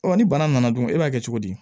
Ɔ ni bana nana dun e b'a kɛ cogo di